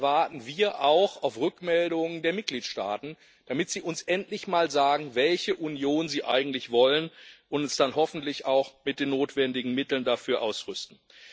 Hier warten wir auch auf Rückmeldungen der Mitgliedstaaten, damit sie uns endlich mal sagen, welche Union sie eigentlich wollen, und uns dann hoffentlich auch mit den notwendigen Mitteln dafür ausstatten.